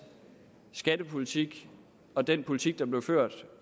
skattepolitik og den politik der blev ført